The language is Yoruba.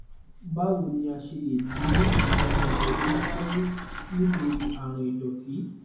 báwo ni a ṣe lè dín àwọn ègbẹ tó ń wáyé nítorí àrùn ìdòtí